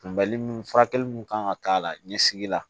Kunbɛli furakɛli mun kan ka k'a la ɲɛsigi la